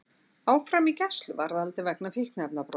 Áfram í gæsluvarðhaldi vegna fíkniefnabrots